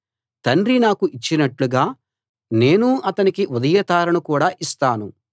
తండ్రి నాకు ఇచ్చినట్లుగా నేనూ అతనికి ఉదయతారను కూడా ఇస్తాను